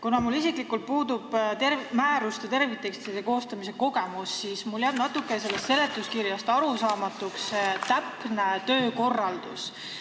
Kuna mul isiklikult puudub määruste terviktekstide koostamise kogemus, siis mul jääb seletuskirjast natuke arusaamatuks see täpne töökorraldus.